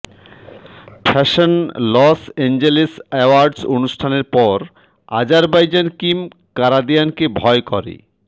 fashion Los Angeles awards অনুষ্ঠানের পর Azerbaijan Kim কারাদিয়ানকে ভয় করে